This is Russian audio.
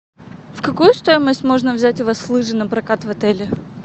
в какую стоимость у вас можно взять лыжи на прокат в отеле